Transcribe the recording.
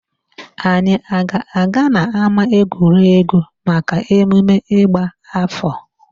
Anyị a ga aga n'ámáegwuregwu maka emume ịgba áfọ̀?